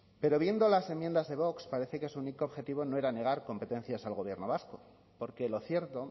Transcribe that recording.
pero viendo las enmiendas de vox parece que su único objetivo no era negar competencias al gobierno vasco porque lo cierto